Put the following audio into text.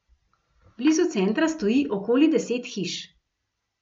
Blizu centra stoji okoli deset hiš.